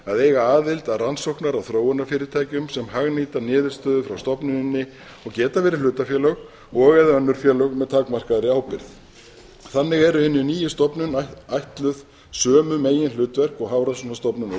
að eiga aðild að rannsókna og þróunarfyrirtækjum sem hagnýta niðurstöðu frá stofnuninni og geta árið hlutafélög og eða önnur félög með takmarkaðri ábyrgð þannig er henni nýju stofnun ætluð sömu meginhlutverk og hafrannsóknastofnun og